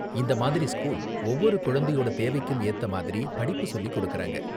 இந்த மாதிரி ஸ்கூல் ஒவ்வொரு குழந்தையோட தேவைக்கும் ஏத்த மாதிரி படிப்பு சொல்லிக் கொடுக்கறாங்க.